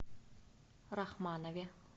рахманове